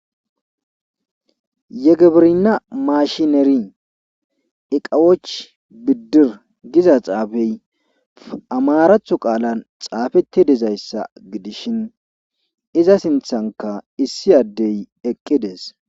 Yegebirina mashineri iqawoch bidir giza xaafey amaaratho qaalan xaafatti dizayssa gidishin iza sinthankka issi addey eqqides.